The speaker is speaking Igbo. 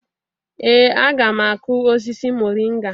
Ee a ga m akụ osisi moringa